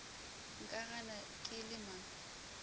nka gana ke le mang